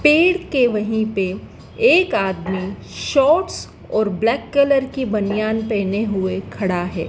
पेड़ के वहीं पे एक आदमी शॉर्ट्स और ब्लैक कलर की बनियान पहने हुए खड़ा है।